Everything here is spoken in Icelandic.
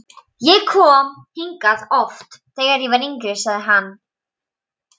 Ég kom hingað oft, þegar ég var yngri sagði hann.